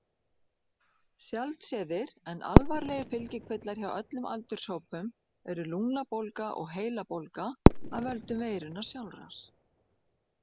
Sjaldséðir en alvarlegir fylgikvillar hjá öllum aldurshópum eru lungnabólga og heilabólga af völdum veirunnar sjálfrar.